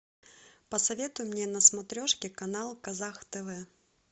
посоветуй мне на смотрешке канал казах тв